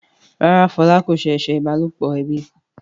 ràrá Fola kò se eṣe ìbálòpọ̀ ẹbí.